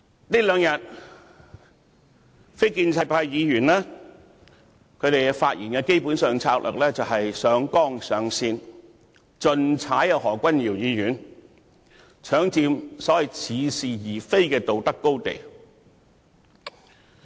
這兩天非建制派議員發言的策略，基本上是上綱上線，要盡力批判何君堯議員，搶佔似是而非的所謂道德高地。